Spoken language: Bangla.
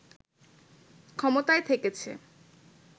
ক্ষমতায় থেকেছে